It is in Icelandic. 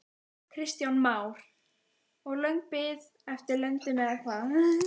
Kristján Már: Og löng bið eftir löndun eða hvað?